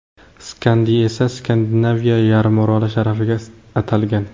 Skandiy esa Skandinaviya yarim oroli sharafiga atalgan.